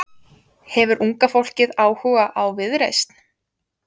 Hefur unga fólkið áhuga á Viðreisn?